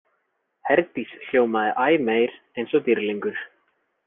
Herdís hljómaði æ meir eins og dýrlingur.